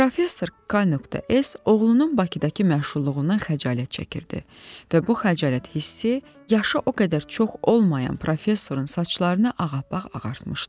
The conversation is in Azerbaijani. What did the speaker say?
Professor k.s oğlunun Bakıdakı məşğulluğundan xəcalət çəkirdi və bu xəcalət hissi yaşı o qədər çox olmayan professorun saçlarını ağappaq ağartmışdı.